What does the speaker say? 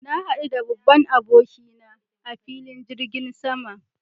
Na hadu da babban aboki na a filin jirgin sama